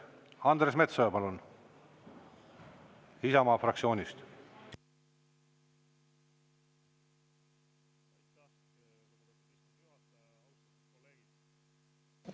Andres Metsoja, palun, Isamaa fraktsioonist!